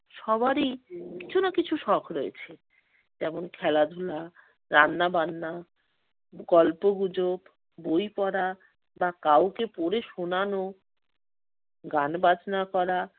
সবারই কিছু না কিছু শখ রয়েছে। যেমন খেলাধুলা, রান্নাবান্না, গল্প-গুজব, বই পড়া বা কাউকে পড়ে শোনানো, গান বাজনা করা